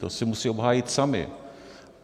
To si musí obhájit sami.